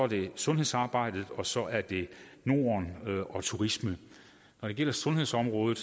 det er sundhedssamarbejdet og så er det norden og turisme når det gælder sundhedsområdet